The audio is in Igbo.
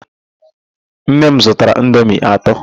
Nne m zụtara indomi atọ.